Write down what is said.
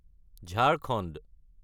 Jharkhand